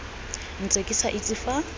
ntse ke sa itse fa